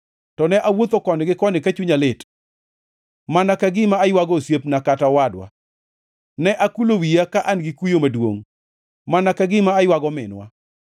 ne awuotho koni gi koni ka chunya lit, mana ka gima aywago osiepna kata owadwa. Ne akulo wiya ka an gi kuyo maduongʼ mana ka gima aywago minwa.